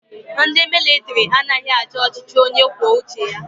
Ndi militari anaghi achi ọchichi onye kwuo uche ya